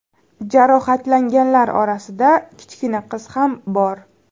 Jarohatlanganlar orasida kichkina qiz ham bor.